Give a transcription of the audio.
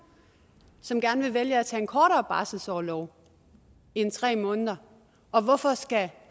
som gerne vil vælge at tage en kortere barselsorlov end tre måneder og hvorfor skal